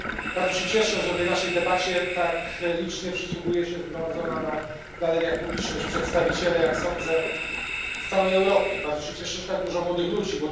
Bardzo się cieszę, że tej naszej debacie tak licznie przysłuchuje się zgromadzona na galeriach publiczność, przedstawiciele, jak sądzę, z całej Europy. Bardzo się cieszę, że tak dużo młodych ludzi.